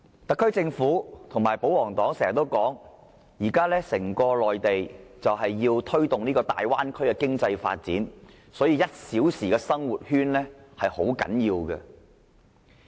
特區政府和保皇黨經常指，內地現時要推動大灣區經濟發展，所以 "1 小時生活圈"很重要。